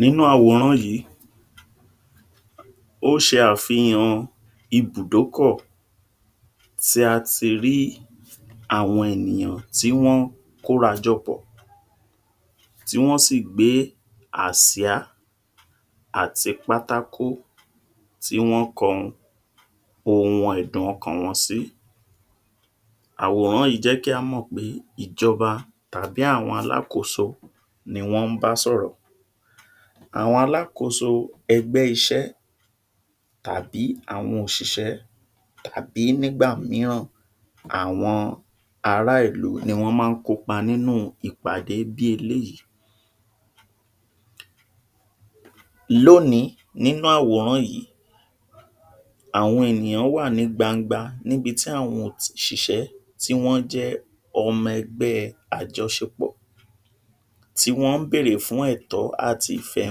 nínú àwòrán yìí ó ṣe àfihàn ibùdókò tí a tí rí àwọn ènìyàn tí wọ́n, kóra jọ pọ̀ tí wọ́n sì gbé, Àsíá àti pátákò tí wọ́n kọ ohun ẹ̀dùn ọkàn wọn sí àwòrán yìí jẹ́ kí á mò pé ìjọba tàbí àwọn alákòóso ni wọ́n ń bá sọ̀rọ̀ àwọn Alákóso ẹgbẹ́ iṣẹ́ àti àwọn òṣìṣẹ́ àbí nígbà mìíràn àwọn ará ìlú ní wọ́n má ń kópa nínú ìpàdé bí eléyìí lónìí nínú àwòrán yìí àwọn ènìyàn wá ní gbangba níbi tí àwọn òt’ṣìṣẹ́ ti wọ́n jẹ́ ọmọ ẹgbẹ́ẹ àjọṣe pọ̀ ti wón ń bèrè fún ẹ̀tọ́ àti ìfẹ́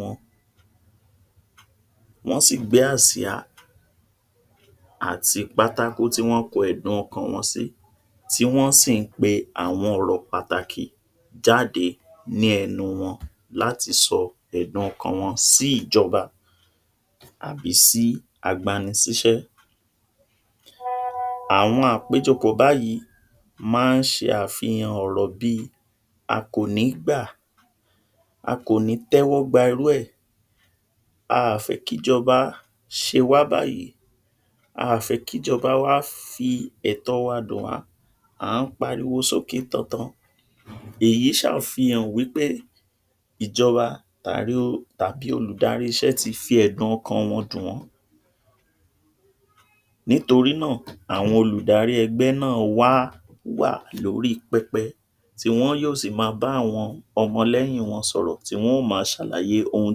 wọn wọ́n sì gbé Àsìá àti pátákò tí wọ́n kọ ẹ̀dùn ọkàn wọn sí tí wọ́n ṣí ń pe àwọn ọ̀rọ̀ pàtàkì jáde ní ẹnu wọn lati sọ ẹ̀dùn ọkàn wọn sí í ìjọba àbí sí agbani síṣẹ́ àwọn àkójọpọ̀ báyìí ma ń ṣe àwọn àfihàn ọ̀rọ̀ bíi a kò ní gbà a kò ní tẹ́wọ́ gba irú ẹ̀ a à fẹ̀ kì ìjọba ṣe wá báyìí a à fẹ̀ kí ìjọba wa fi ẹ̀tọ̀ wa dùn wá à ń pariwo sókè tantan èyí ṣ’àfihàn wípé ìjọba tàbí olùdarí ìṣẹ́ tí fí ẹ̀dùn ọkàn wọn dùn wọn nítorí náà, àwọn olùdarí ẹ̀gbẹ́ náà wá á wà lórí pẹpẹ tí wọ́n yóò sì ma bá àwọn ọmọ lẹ́yìn wọn sọ̀rọ̀ ti wọn yóò ma ṣàlàyé ohun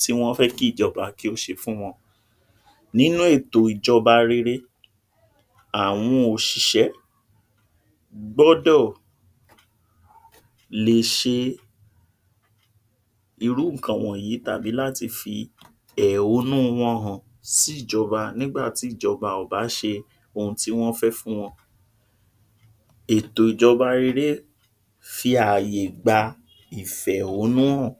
tí wọ́n fẹ́ kí ìjọba kí ó ṣe fún wọn nínú ètò ìjọba rere àwọn òṣìṣẹ́ gbọ́dọ̀ lè ṣe irú ǹkan wọ̀nyìí tàbí láti fi èhónú wọn hàn sí ìjọba nígbàtí ìjọba ò bá ṣe ohun tí wọ́n fẹ́ fún wọn ètò ìjọba reré fi àyè gba fi àyè gba ìfẹ̀húnnú hàn